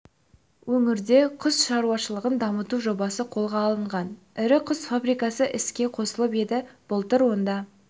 өңірде құс шаруашылығын дамыту жобасы қолға алынған ірі құс фабрикасы іске қосылып еді былтыр онда